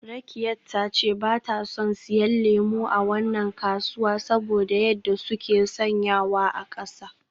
Rakkiat ta ce ba ta son siyan lemu a wannan kasuwa saboda yadda suke sanyawa a kasa.